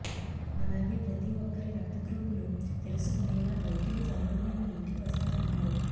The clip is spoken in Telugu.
అలాగే ప్రతీ ఒక్కరి రక్త గ్రూపులు తెలుసుకునేలా వైద్యులు త్వరలోనే మీ ఇంటికి వస్తారన్నారు